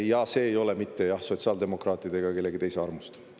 Ja see ei ole mitte sotsiaaldemokraatide ega kellegi teise armust.